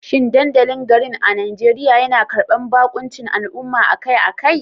Shin dandalin garin a Najeriya yana karbar baƙuncin al'umma akai-akai?